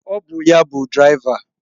Ọ bụ ya bụ dịraiva.